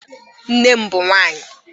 Nne m bụ nwaanyị